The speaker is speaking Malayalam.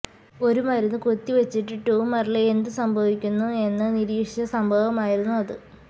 ഒരു മരുന്ന് കുത്തിവച്ചിട്ട് ട്യൂമറില് എന്ത് സംഭവിക്കുന്നു എന്ന് നിരീക്ഷിച്ച സംഭവമായിരുന്നു അത്